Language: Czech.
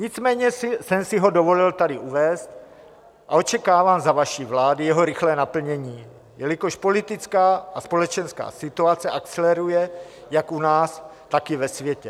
Nicméně jsem si ho dovolil tady uvést a očekávám za vaší vlády jeho rychlé naplnění, jelikož politická a společenská situace akceleruje jak u nás, tak i ve světě.